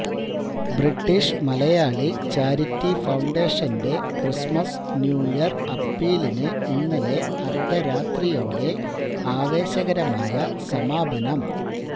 British Malayali charity ഫൌണ്ടേഷന്റെ Christmas new year അപ്പീലിന് ഇന്നലെ അര്ദ്ധരാത്രിയോടെ ആവേശകരമായ സമാപനം